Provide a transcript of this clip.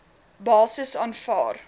basis aanvaar